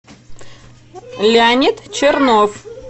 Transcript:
леонид чернов